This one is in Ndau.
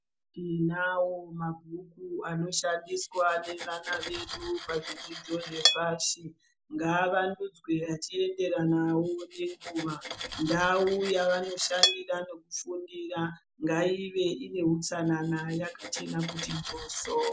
Tinawo mabhuku anoshandiswa nevana vedu pazvidzidzo zvepashi ngavandudzwewo achienderana nenguwa ndau yavanoshandira nekufundira ngaive ine hutsanana yakachena kuti njoso.